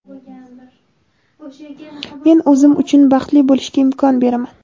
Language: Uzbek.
Men o‘zim uchun baxtli bo‘lishga imkon beraman!.